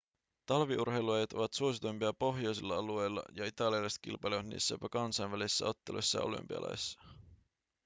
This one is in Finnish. talviurheilulajit ovat suosituimpia pohjoisilla alueilla ja italialaiset kilpailevat niissä jopa kansainvälisissä otteluissa ja olympialaisissa